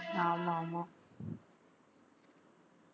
ஆமா ஆமா